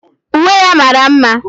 Uwe ya mara mma